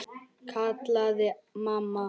kallaði mamma.